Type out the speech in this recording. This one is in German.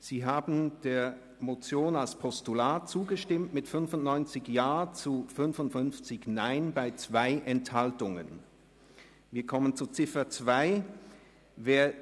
Sie haben der Motion als Postulat mit 95 Ja zu 55 Nein bei 2 Enthaltungen zugestimmt.